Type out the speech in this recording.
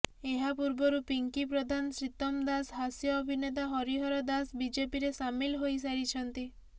ଏହା ପୂର୍ବରୁ ପିଙ୍କି ପ୍ରଧାନ ଶ୍ରୀତମ ଦାସ ହାସ୍ୟ ଅଭିନେତା ହରିହର ଦାସ ବିଜେପିରେ ସାମିଲ ହୋଇସାରିଛନ୍ତି